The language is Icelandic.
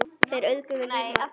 Þeir auðguðu líf margra.